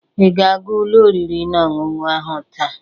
Ị ga-aga ụlọ oriri na ọṅụṅụ ahụ taa?